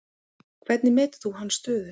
Hvernig metur þú hans stöðu?